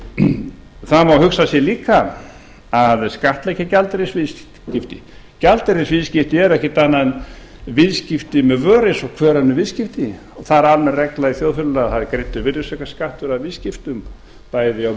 þá má hugsa sér líka að skattleggja gjaldeyrisviðskipti gjaldeyrisviðskipti eru ekkert annað en viðskipti með vöru eins og hver önnur viðskipti og það er almenn regla í þjóðfélaginu að það er greiddur virðisaukaskattur af viðskiptum bæði af vörum